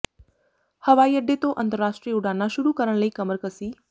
ਹਵਾਈ ਅੱਡੇ ਤੋਂ ਅੰਤਰਰਾਸ਼ਟਰੀ ਉਡਾਣਾਂ ਸ਼ੁਰੂ ਕਰਨ ਲਈ ਕਮਰ ਕਸੀ